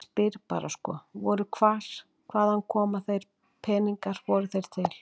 Ég spyr bara sko voru, hvað, hvar, hvaðan koma þeir peningar, voru þeir til?